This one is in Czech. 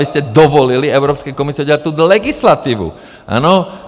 Vy jste dovolili Evropské komisi udělat tuhle legislativu, ano?